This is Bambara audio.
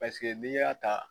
n'i y'a ta